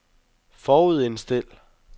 forudindstil